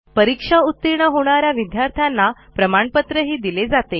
परीक्षा उतीर्ण होणा या विद्यार्थ्यांना प्रमाणपत्रही दिले जाते